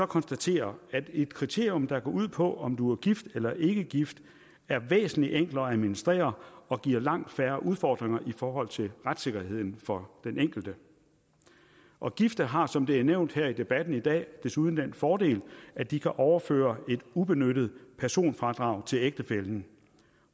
konstatere at et kriterium der går ud på om du er gift eller ikke gift er væsentlig enklere at administrere og giver langt færre udfordringer i forhold til retssikkerheden for den enkelte og gifte har som det er nævnt her i debatten i dag desuden den fordel at de kan overføre et ubenyttet personfradrag til ægtefællen